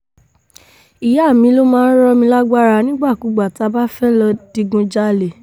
ìyá mi ló máa ń rọ̀ mí lágbára nígbàkúùgbà tá a bá fẹ́ẹ́ lọ́ọ digunjalè